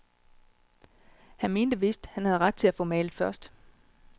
Han mente vist, han havde ret til at få malet først.